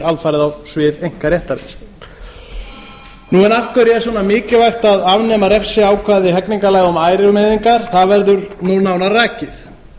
alfarið á svið einkaréttarins af hverju er svona mikilvægt að afnema refsiákvæði hegningarlaga um ærumeiðingar það verður núna nánar rakið